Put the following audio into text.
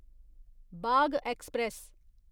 Bagh express